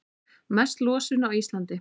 Mest losun á Íslandi